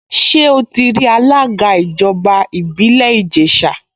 Ṣé ó ti rí alága ìjọba ìbílẹ̀ Ìjẹ̀ṣà?